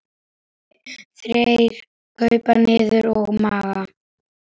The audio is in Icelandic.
Þeir krupu niður að Magga.